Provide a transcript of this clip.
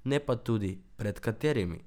Ne pa tudi, pred katerimi.